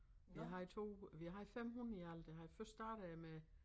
Vi havde 2 vi havde 5 hunde i alt først startede jeg med